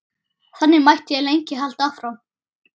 Þannig mætti lengi halda áfram.